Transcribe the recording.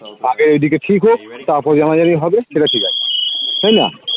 আগে এইদিকে ঠিক হোক তারপরে জানাজানি হবে সেটা ঠিক আছে তাইনা?